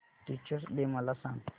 teachers day मला सांग